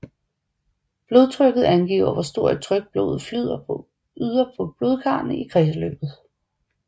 Blodtrykket angiver hvor stort et tryk blodet yder på blodkarrene i kredsløbet